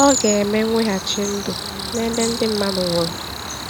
Ọ̀ ga-eme mweghachi ndụ n’ebe ndị mmadụ nwụrụ?